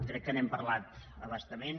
crec que n’hem parlat a bastament